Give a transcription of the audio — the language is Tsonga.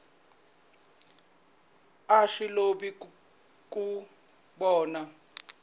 a swi olovi ku vona